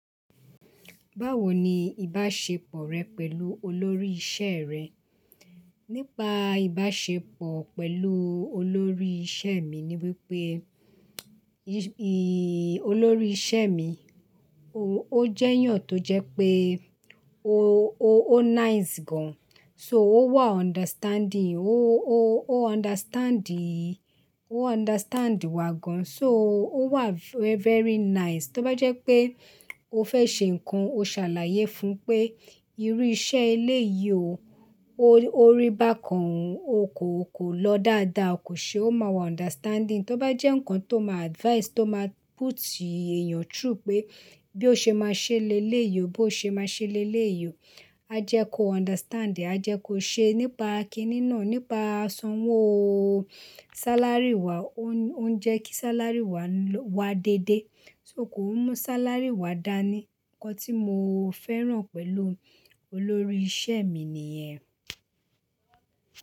Báwo ni ìbáṣepọ̀ rẹ pẹ̀lú olórí ìṣe rẹ? Nípa ìbáṣepọ̀ pẹ̀lú olórí ìṣe mi ni wípé, i-i olórí ìṣe mi, o jẹ́ èyàn tó jẹ́ pé ó nice gan. So ó wà understanding, ó understand, ó understand ì wá gan. So ó wà very nice. Tóbá jẹ́ pé o fẹ́ ṣe nǹkan, o ṣàlàyé fún un pé, irú iṣẹ́ eléyìí o, o rí bákan, o kò lọ dáadáa o kò ṣe ó máa wà understanding. Tóbá jẹ́ nǹkan tó máa advice, tó máa put èèyàn through pé bí o ṣe máa ṣe lé léyìí o, bí o ṣe máa ṣe lé léyìí o, a jẹ kó understand e, a jẹ kó ṣe nípa kíni náà, nípa san'wó sálárì wa. Ó ń jẹ́ kí sáálárì wa wá déédé, só kò ńmú sáálárì wa dá ní. Ǹkan tí mo fẹ́ràn pẹ̀lú olórí ìṣe mi nìyẹn.